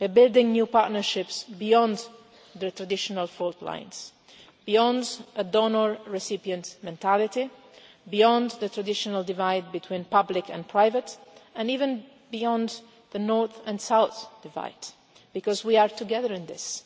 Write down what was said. We're building new partnerships beyond the traditional fault lines, beyond a donor recipient mentality, beyond the traditional divide between public and private, and even beyond the North and South divide, because we are together in this,